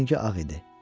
Amma rəngi ağ idi.